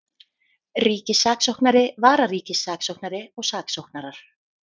Ríkissaksóknari, vararíkissaksóknari og saksóknarar.